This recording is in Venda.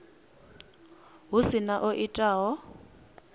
hu si na o itaho